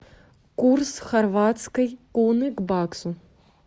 курс хорватской куны к баксу